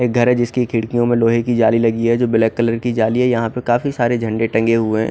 एक घर है जिमेकी खिडकियों में लोहे की झाली लगी है जो ब्लैक कलर की झाली है यहाँ पर काफी सारे झंडे टंगे हुए है।